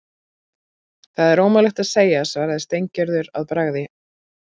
Það er ómögulegt að segja svaraði Steingerður að bragði.